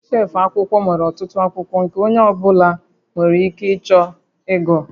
Shelf akwụkwọ nwere ọtụtụ akwụkwọ nke onye ọ bụla nwere ike chọọ ịgụ